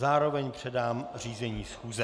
Zároveň předám řízení schůze.